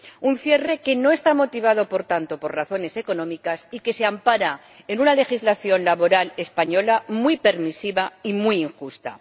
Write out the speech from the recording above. Un cierre que no está motivado, por tanto, por razones económicas y que se ampara en una legislación laboral española muy permisiva y muy injusta.